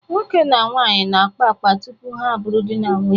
Nwoke na nwaanyị na-akpa akpa tupu ha abụrụ di na nwunye.